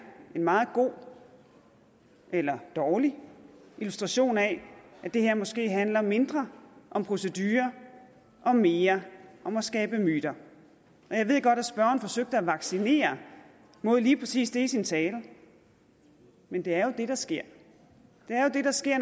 en meget god eller dårlig illustration af at det her måske handler mindre om procedurer og mere om at skabe myter og jeg ved godt at spørgeren forsøgte at vaccinere mod lige præcis det i sin tale men det er jo det der sker det er jo det der sker